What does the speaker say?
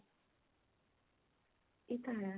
ਇਹ ਤਾਂ ਹੈ